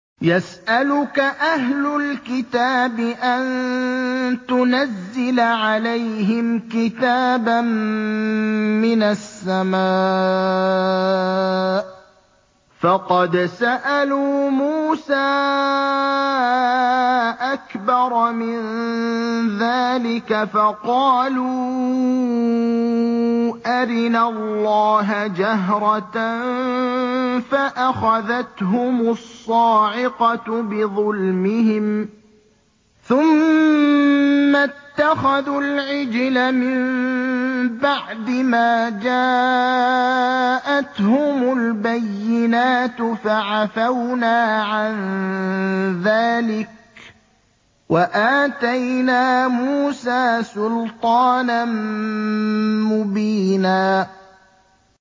يَسْأَلُكَ أَهْلُ الْكِتَابِ أَن تُنَزِّلَ عَلَيْهِمْ كِتَابًا مِّنَ السَّمَاءِ ۚ فَقَدْ سَأَلُوا مُوسَىٰ أَكْبَرَ مِن ذَٰلِكَ فَقَالُوا أَرِنَا اللَّهَ جَهْرَةً فَأَخَذَتْهُمُ الصَّاعِقَةُ بِظُلْمِهِمْ ۚ ثُمَّ اتَّخَذُوا الْعِجْلَ مِن بَعْدِ مَا جَاءَتْهُمُ الْبَيِّنَاتُ فَعَفَوْنَا عَن ذَٰلِكَ ۚ وَآتَيْنَا مُوسَىٰ سُلْطَانًا مُّبِينًا